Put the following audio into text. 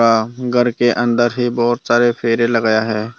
हां घर के अंदर ही बहुत सारे फेरे लगाया है।